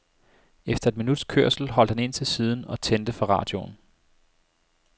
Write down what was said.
Efter et minuts kørsel holdt han ind til siden og tændte for radioen.